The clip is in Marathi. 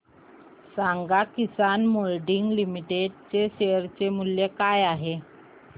सांगा किसान मोल्डिंग लिमिटेड चे शेअर मूल्य काय आहे